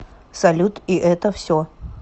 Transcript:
салют и это все